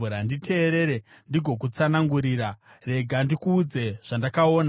“Nditeerere ndigokutsanangurira; rega ndikuudze zvandakaona,